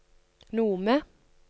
Nome